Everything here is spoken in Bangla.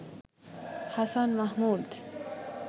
হাসান মাহমুদ